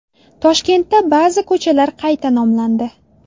Toshkentda ba’zi ko‘chalar qayta nomlandi.